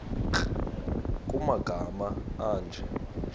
nkr kumagama anje